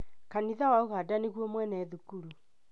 Kanitha wa ũganda nĩguo mwene thukuru